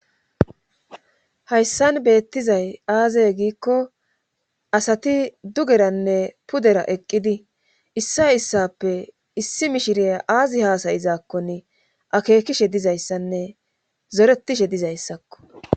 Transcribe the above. hayssan beettizay aazey giikko asati dugeranne pudera eqqidi issa issappe issi mishirya aazi haasayizaakkone akeekishe dizayssanne zoretishe dizayssakko